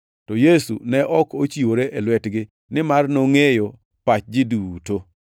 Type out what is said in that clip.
To Yesu ne ok ochiwore e lwetgi, nimar nongʼeyo pach ji duto.